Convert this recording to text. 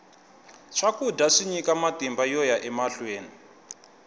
swakudya swi nyika matimba yoya emahlweni